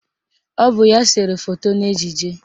Ọ bụ ya sere foto n'ejije